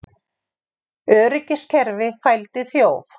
Öryggiskerfi fældi þjóf